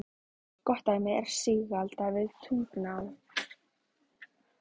Gott dæmi er Sigalda við Tungnaá.